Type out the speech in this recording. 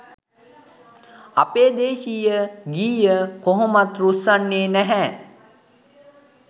අපේ දේශීය ගීය කොහොමත් රුස්සන්නේ නැහැ